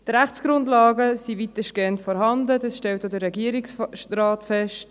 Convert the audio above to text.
Die Rechtsgrundlagen sind weitestgehend vorhanden, das stellt auch der Regierungsrat fest.